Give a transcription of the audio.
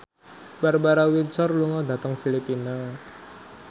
Barbara Windsor lunga dhateng Filipina